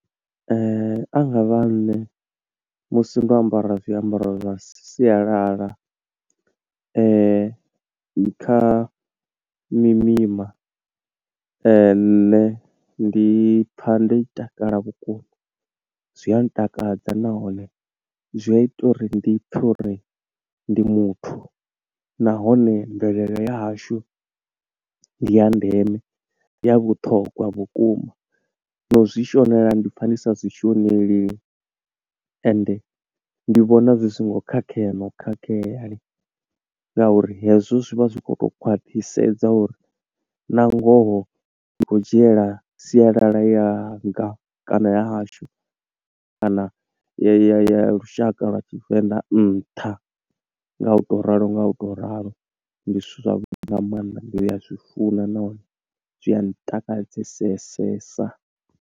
A nga vha nṋe musi ndo ambara zwiambaro zwa sialala, kha mimima, nne ndi pfa ndo takala vhukuma, zwi a ntakadza nahone zwi a ita uri ndi pfe uri ndi muthu. Nahone mvelele ya hashu ndi ya ndeme, ndi ya vhuthogwa vhukuma, na u zwi shonela ndi pfa ndi sa zwi shoneli. Ende ndi vhona zwi songo khakhea na u khakhea, nga uri hezwo zwivha zwi khou to khwaṱhisedza uri na ngoho ndi khou dzhiela sialala yanga kana ya hashu, kana ya lushaka lwa tshivenḓa nṱha nga u to ralo nga u to ralo. Ndi zwithu zwavhuḓi nga maanḓa, ndi ya zwi funa, nahone zwi a ntakadzesesesa.